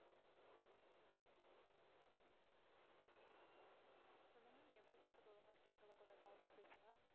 சொல்லுங்க நீங்க பேசுறது ஒழுங்கா கேக்கலை கொஞ்சம் sound ஆ பேசுங்க.